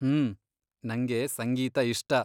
ಹ್ಮ್.. ನಂಗೆ ಸಂಗೀತ ಇಷ್ಟ.